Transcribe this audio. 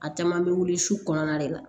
A caman bɛ wuli su kɔnɔna de la